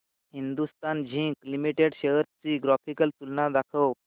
Hindustan Zinc Limited shares ची graphical तुलना दाखव